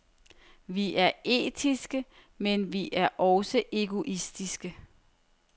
Vi er etiske, men vi er også egoistiske.